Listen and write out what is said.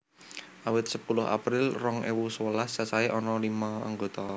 Awit sepuluh April rong ewu sewelas cacahé ana lima anggota